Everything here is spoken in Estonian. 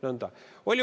Nõnda.